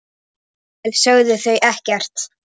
Lengi vel sögðu þau ekkert.